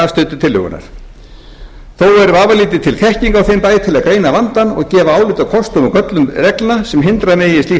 til tillögunnar þó er vafalítið til þekking á þeim bæ til að greina vandann og gefa álit á kostum og göllum reglna sem hindra megi slíkt